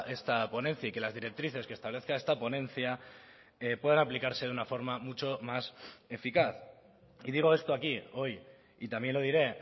esta ponencia y que las directrices que establezca esta ponencia puedan aplicarse de una forma mucho más eficaz y digo esto aquí hoy y también lo diré